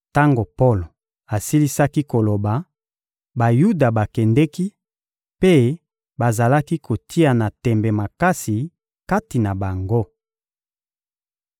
Tango Polo asilisaki koloba Bayuda bakendeki mpe bazalaki kotiana tembe makasi kati na bango